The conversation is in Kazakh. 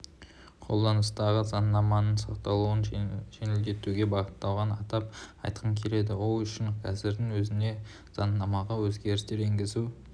қолданыстағы заңнаманың сақталуын жеңілдетуге бағытталғанын атап айтқым келеді ол үшін қазірдің өзінде заңнамаға өзгерістер енгізу